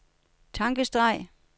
tankestreg